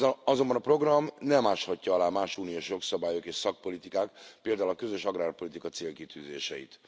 Azonban a program nem áshatja alá más uniós jogszabályok és szakpolitikák, például a közös agrárpolitika célkitűzéseit.